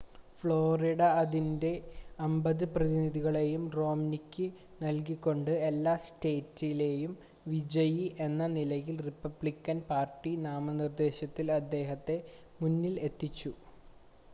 Florida അതിൻ്റെ അമ്പത് പ്രതിനിധികളെയും റോംനിക്ക് നൽകിക്കൊണ്ട് എല്ലാ സ്റ്റേറ്റിലെയും വിജയി എന്ന നിലയിൽ റിപ്പബ്ലിക്കൻ പാർട്ടി നാമനിർദ്ദേശത്തിൽ അദ്ദേഹത്തെ മുന്നിൽ എത്തിച്ചു